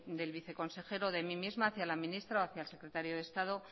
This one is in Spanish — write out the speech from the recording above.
del viceconsejero de mí misma hacia la ministra o hacia el secretario del estado